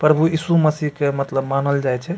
प्रभु यीशु मसीह के मतलब मानल जाय छै।